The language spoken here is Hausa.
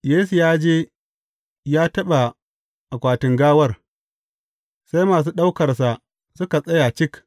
Yesu ya je ya taɓa akwatin gawar, sai masu ɗaukarsa suka tsaya cik.